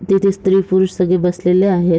तिथे स्त्री पुरुष सगळे बसलेले आहेत.